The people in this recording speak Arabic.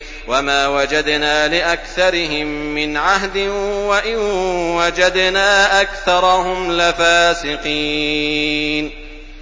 وَمَا وَجَدْنَا لِأَكْثَرِهِم مِّنْ عَهْدٍ ۖ وَإِن وَجَدْنَا أَكْثَرَهُمْ لَفَاسِقِينَ